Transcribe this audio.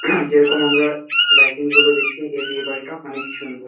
যেরকম আমরা লাইটিংস -গুলো দেখছি এ বিয়ে বাড়িটা অনেকই সুন্দর।